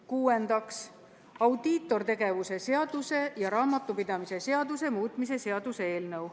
Kuuendaks, audiitortegevuse seaduse ja raamatupidamise seaduse muutmise seaduse eelnõu.